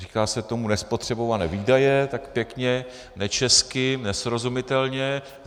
Říká se tomu nespotřebované výdaje tak pěkně nečesky, nesrozumitelně.